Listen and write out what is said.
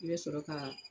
I bɛ sɔrɔ ka